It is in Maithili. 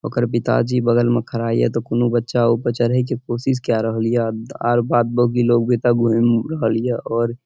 ओकर पिताजी बगल में खड़ा ये ते कूनु बच्चा ओय पर चढ़े के कोशिश केए रहल ये आर बाद बाकी लोग भी ते घूम रहल ये और --